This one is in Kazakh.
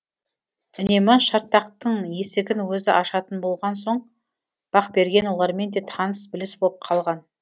үнемі шартақтың есігін өзі ашатын болған соң бақберген олармен де таныс біліс боп қалған